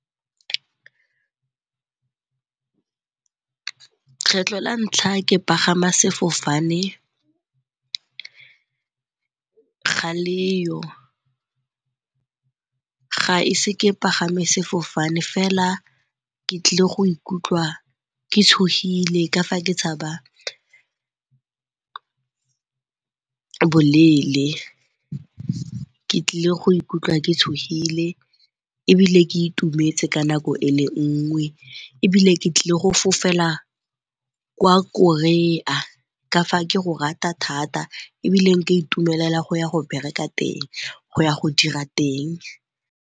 Kgetlho la ntlha ke pagama sefofane ga leyo, ga ise ke pagame sefofane fela ke tlile go ikutlwa ke tshogile ka fa ke tshaba boleele. Ke tlile go ikutlwa ke tshogile ebile ke itumetse ka nako e le nngwe ebile ke tlile go fofela kwa Korea ka fa ke go rata thata ebile nka itumelela go ya go bereka teng, go ya go dira teng.